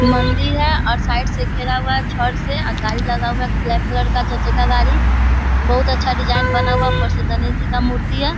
मन्दिर है और साइड से घेरा हुआ है छड़ से अ गाड़ी लगा हुआ है ब्लैक कलर का चार चक्का गाड़ी। बहुत अच्छा डिजाईन बना हुआ है। ऊपर से गणेश जी का मूर्ति है।